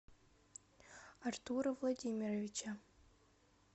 артура владимировича